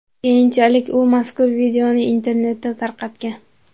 Keyinchalik u mazkur videoni internetda tarqatgan.